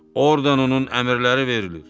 Oradan onun əmrləri verilir.